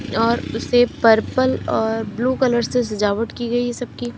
और उसे पर्पल और ब्लू कलर से सजावट की गई है सबकी--